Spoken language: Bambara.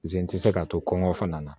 Je n tɛ se k'a to kɔn kɔngɔ fana na